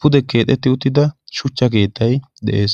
pude simmidi keexetti uttida shuchcha keettay de'ees.